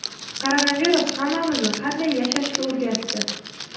Koronavirus hammamizni qanday yashashga o‘rgatdi.